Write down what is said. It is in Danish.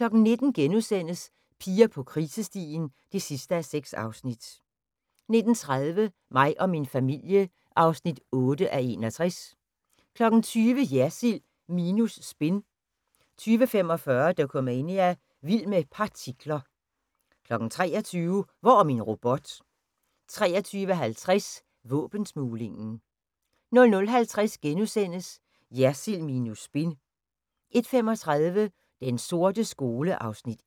19:00: Piger på krisestien (6:6)* 19:30: Mig og min familie (8:61) 20:00: Jersild minus spin 20:45: Dokumania: Vild med partikler 23:00: Hvor er min robot? 23:50: Våbensmuglingen 00:50: Jersild minus spin * 01:35: Den sorte skole (Afs. 1) 02:05: